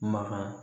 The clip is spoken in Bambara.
Makan